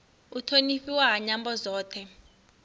u thonifhiwa ha nyambo dzothe